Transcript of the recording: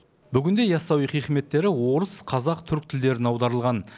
бүгінде ясауи хикметтері орыс қазақ түрік тілдеріне аударылған